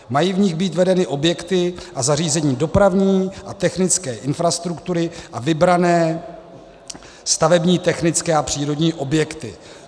Mají v nich být vedeny objekty a zařízení dopravní a technické infrastruktury a vybrané stavební, technické a přírodní objekty.